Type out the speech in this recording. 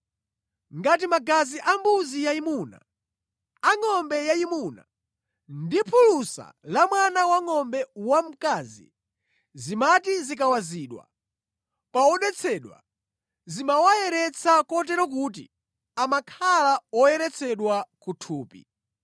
Ngati magazi ambuzi yayimuna, angʼombe yayimuna ndi phulusa la mwana wangʼombe wamkazi zimati zikawazidwa pa odetsedwa zimawayeretsa kotero kuti amakhala oyeretsedwa ku thupi,